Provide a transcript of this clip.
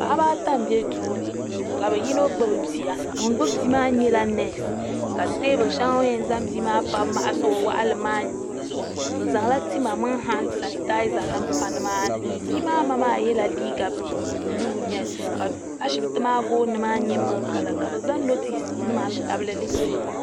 Paɣaba ata m be duuni ka yino gbibi bia ŋun gbibi bia maa nyɛla neesi ka teebuli sheli o ni yen zaŋ bia maa pa m maɣasi o waɣalim maa zuɣu o zaŋla tima mini han sanitaaza nima pa nimaani bia maa ma maa yela liiga buluu ka ashipti maa gooni maa nyɛ miliki kala ka bɛ zaŋ notisi tabilili.